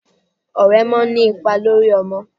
Ọ̀rẹ́ máa ń ní ipa lórí ọmọ.